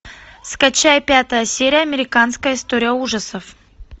скачай пятая серия американская история ужасов